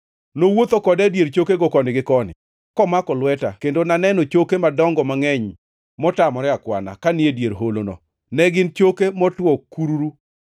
Nowuotho koda e dier chokego koni gi koni, komako lweta, kendo naneno choke madongo mangʼeny motamore akwana, kanie dier holono; ne gin choke motwo kururu.